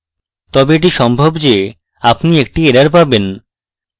তবে এটিও সম্ভব যে আপনি একটি error পাবেন